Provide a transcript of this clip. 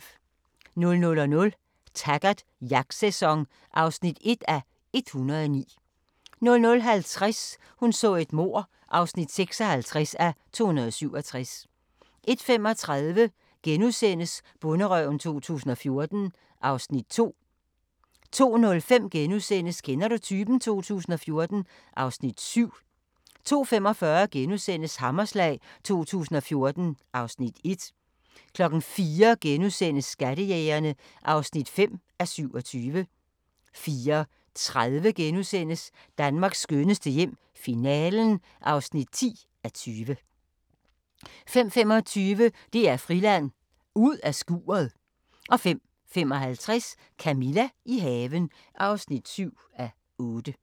00:00: Taggart: Jagtsæson (1:109) 00:50: Hun så et mord (56:267) 01:35: Bonderøven 2014 (Afs. 2)* 02:05: Kender du typen? 2014 (Afs. 7)* 02:45: Hammerslag 2014 (Afs. 1)* 04:00: Skattejægerne (5:27)* 04:30: Danmarks skønneste hjem - finalen (10:20)* 05:25: DR Friland: Ud af skuret 05:55: Camilla – i haven (7:8)